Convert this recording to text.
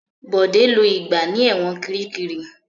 Bọ̀dé lo ìgbà ní ẹ̀wọ̀n Kiríkirì.